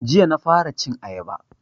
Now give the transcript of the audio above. Jiya na fara cin ayaba